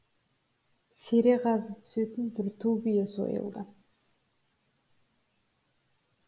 сере қазы түсетін бір ту бие сойылды